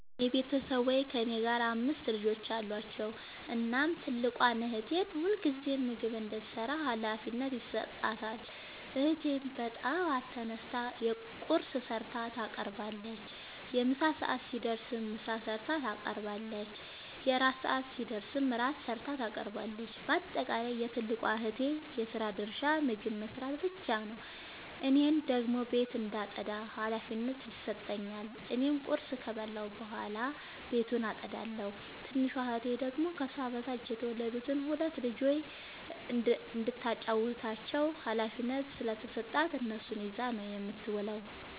የኔ ቤተሠቦይ ከእኔ ጋር አምስት ልጆች አሏቸዉ። እናም ትልቋን እህቴ ሁልጊዜም ምግብ እንድትሰራ ሀላፊነት ይሠጣታል። እህቴም በጠዋት ተነስታ ቁርስ ሠርታ ታቀርባለች። የምሣ ሰዓት ሲደርስም ምሳ ሠርታ ታቀርባለች። የእራት ሰዓት ሲደርስም ራት ሠርታ ታቀርባለች። ባጠቃለይ የትልቋ እህቴ የስራ ድርሻ ምግብ መስራት ብቻ ነዉ። እኔን ደግሞ ቤት እንዳጠዳ ሀላፊነት ይሠጠኛል። እኔም ቁርስ ከበላሁ በኃላ ቤቱን አጠዳለሁ። ትንሿ እህቴ ደግሞ ከሷ በታች የተወለዱትን ሁለት ልጆይ እንዳታጫዉታቸዉ ሀላፊነት ስለተሠጣት እነሱን ይዛ ነዉ የምትዉለዉ።